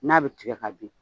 N'a bɛ tigɛ ka bin.